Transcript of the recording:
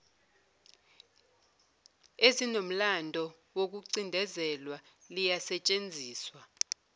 ezinomlando wokucindezelwa liyasetshenziswa